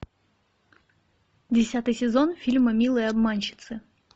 десятый сезон фильма милые обманщицы